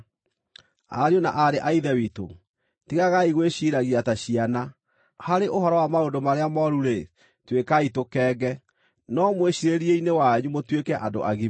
Ariũ na aarĩ a Ithe witũ, tigagai gwĩciiragia ta ciana. Harĩ ũhoro wa maũndũ marĩa mooru-rĩ, tuĩkai tũkenge, no mwĩciirĩrie-inĩ wanyu mũtuĩke andũ agima.